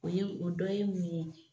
O ye o dɔ ye mun ye